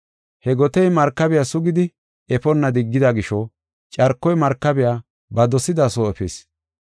He gotey markabiya sugidi efonna diggida gisho carkoy markabiya ba dosida soo efis.